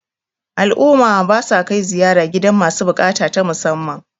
al'umma ba sa kai ziyara gidan masu bukata ta musamman